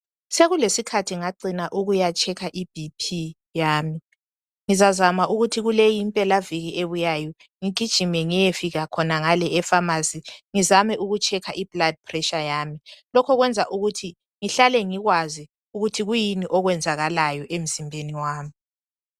sekulesikhathi ngacina ukuya checker i BP yami ngizazama ukuthi kuleyi impelaviki ebuyayo ngigijime ngiyefika khonangale e phamarcy ngizame uku checker i blood pressure yami lokho kwenza ukuthi ngihlale ngikwazi ukuthi kuyini okwenzakalayo emzimbeni wami